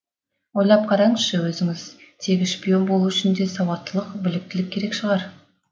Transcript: ойлап қараңызшы өзіңіз тегі шпион болу үшін де сауаттылық біліктілік керек шығар